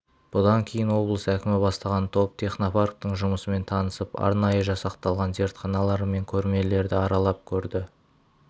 бұдан кейін облыс әкімі бастаған топ технопарктің жұмысымен танысып арнайы жасақталған зертханалар мен көрмелерді аралап көрді